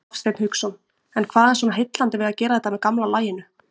Hafsteinn Hauksson: En hvað er svona heillandi við að gera þetta með gamla laginu?